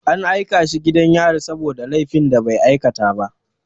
An aika shi gidan yari saboda laifin da bai aikata ba.